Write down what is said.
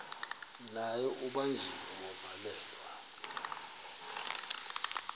naye ubanjiwe wavalelwa